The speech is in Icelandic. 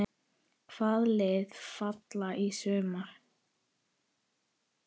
Hvaða lið falla í sumar?